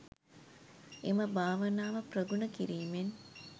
එම භාවනාව ප්‍රගුණ කිරීමෙන්